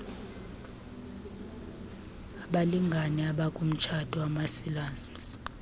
abalngane abakumtshato wamasilamsi